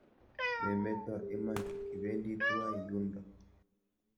Memeto iman, kibendi tuwai yundo.